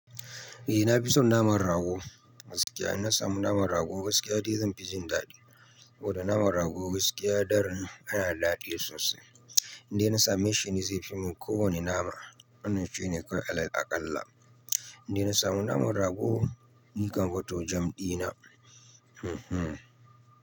Eh na fi son naman rago gaskiya. In na samu naman rago gaskiya dai zan fi jin daɗi. Saboda naman rago gaskiya daran yana da daɗi sosai. Inda na same shi ne zai fi min kowane nama. Wannan shine kawai alal aƙalla. Indai na samu naman rago nikam fa to jam ɗina. Hmm hmm.